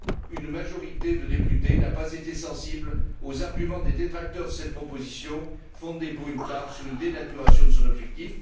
Une majorité de députés n'a pas été sensible aux arguments des détracteurs de cette proposition, fondés pour une part sur une dénaturation de son objectif.